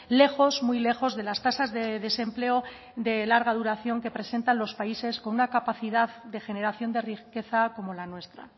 lejos muy lejos de las tasas de desempleo de larga duración que presentan los países con una capacidad de generación de riqueza como la nuestra